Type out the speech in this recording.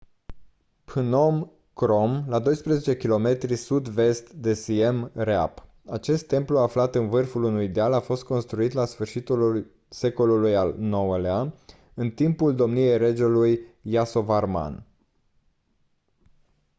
phnom krom la 12 km sud-vest de siem reap acest templu aflat în vârful unui deal a fost construit la sfârșitul secolului al ix-lea în timpul domniei regelui yasovarman